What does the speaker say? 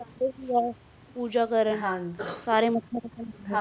ਸਾਰੇ ਪੂਜਾ ਕੈਰਨ